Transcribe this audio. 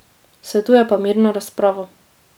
Svetuje pa mirno razpravo.